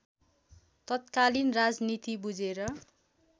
तत्कालीन राजनीति बुझेर